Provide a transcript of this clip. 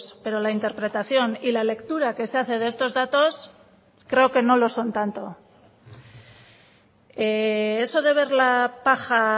pero la interpretación y la lectura que se hace de estos datos creo que no lo son tanto eso de ver la paja